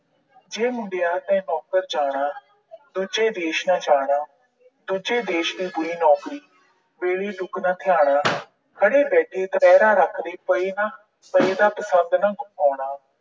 ਜੇ ਮੁੰਡਿਆਂ ਤੈਂ ਨੌਕਰ ਜਾਣਾ, ਦੂਜੇ ਦੇਸ ਨਾ ਜਾਣਾ। ਦੂਜੇ ਦੇਸ ਦੀ ਬੁਰੀ ਨੌਕਰੀ, ਵੇਲੀ ਟੁੱਕ ਨਾ ਥਿਆਣਾ। ਖੜ੍ਹੇ ਬੈਠੇ ਰੱਖਦੇ ਪਏ ਨਾ, ਅਹ ਪਏ ਦਾ ਪਸੰਦ ਨਾ ਆਉਣਾ।